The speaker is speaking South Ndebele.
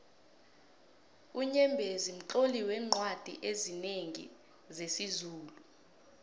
unyembezi mtloli weencwadi ezinengi zesizulu